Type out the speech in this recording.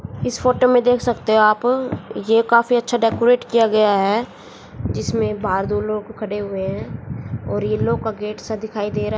इस फोटो में देख सकते हो आप ये काफी अच्छा डेकोरेट किया गया है जिसमे बाहर दो लोग खड़े हुए हैं और येलो का गेट से दिखाई दे र--